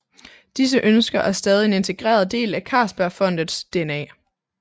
Disse ønsker er stadig en integreret del af Carlsbergfondets DNA